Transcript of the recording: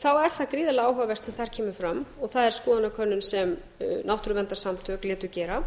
þá er það gríðarlega áhugavert sem þar kemur fram og það er skoðanakönnun sem náttúruverndarsamtök létu gera